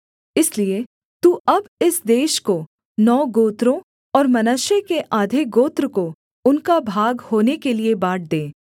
इसलिए तू अब इस देश को नौ गोत्रों और मनश्शे के आधे गोत्र को उनका भाग होने के लिये बाँट दे